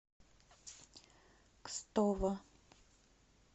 кстово